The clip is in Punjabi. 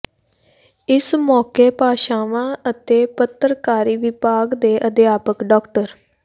ਇਸ ਮੌਕੇ ਭਾਸ਼ਾਵਾਂ ਅਤੇ ਪਤਰਕਾਰੀ ਵਿਭਾਗ ਦੇ ਅਧਿਆਪਕ ਡਾ